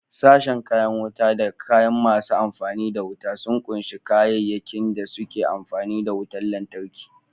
Sashen kayan wuta da kaya masu amfani da wuta sun kunshi kayayyakin da suke amfani da wutar lantarki.